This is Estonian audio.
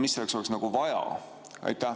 Mida selleks oleks vaja?